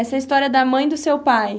Essa é a história da mãe do seu pai.